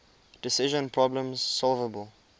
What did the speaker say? decision problems solvable